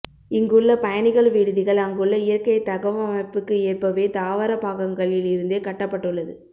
இங்குள்ள பயணிகள் விடுதிகள் அங்குள்ள இயற்கை தகவமைப்புக்கு ஏற்பவே தாவர பாகங்களில் இருந்தே கட்டப்பட்டுள்ளது